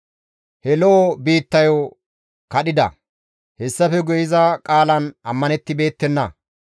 He lo7o biittayo kadhida; Hessafe guye iza qaalan ammanettibeettenna.